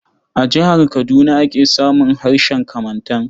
A jihar Kaduna ake samun harshen Kamantan.